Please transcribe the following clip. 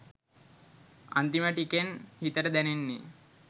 අන්තිම ටිකෙන් හිතට දැනෙන්නෙ